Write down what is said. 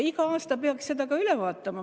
Iga aasta peaks seda ka üle vaatama.